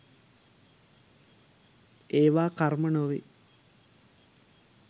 ඒවා කර්ම නොවේ.